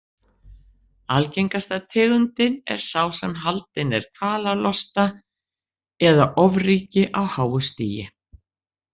Algengasta tegundin er sá sem haldinn er kvalalosta eða ofríki á háu stigi.